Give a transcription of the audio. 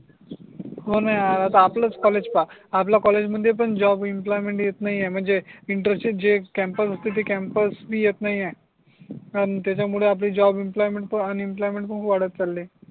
हो णा यार आता आपलच कॉलेज पाहा आपल्या कॉलेज मध्ये पण जॉब इम्प्लॉयमेंट येत नाही आहे म्हणजे इंटरशिप जे कॅंपस होते ते कॅंपस बी येत नाही आहे आणि त्याच्या मूळे आपली जॉब इम्प्लॉयमेंट अन इम्प्लॉयमेंट पण वाटत चाली